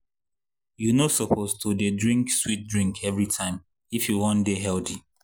you no suppose to dey drink sweet drink every time if you wan dey healthy.